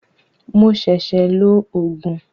Mo ṣẹ̀ṣẹ̀ lo Ògùn